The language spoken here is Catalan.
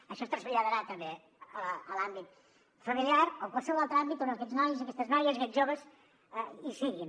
això es traslladarà també a l’àmbit familiar o a qualsevol altre àmbit on aquests nois i aquestes noies aquests joves hi siguin